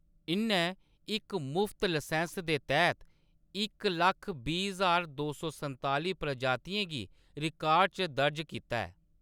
इʼन्नै इक मुफ्त लसैंस्स दे तैह्‌‌‌त इक लक्ख दो सौ संताली प्रजातियें गी रिकार्ड च दर्ज कीता ऐ।